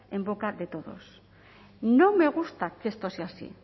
en boca de todos no me gusta que esto sea así